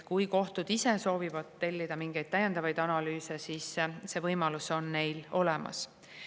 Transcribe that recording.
Kui kohtud ise soovivad tellida mingeid täiendavaid analüüse, siis see võimalus on neil olemas.